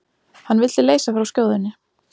Hann vildi leysa frá skjóðunni.